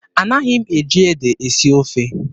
Anaghị m eji ede esi ofe.